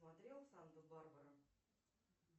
смотреть санту барбара